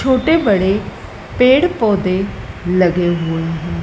छोटे बड़े पेड़ पौधे लगे हुए--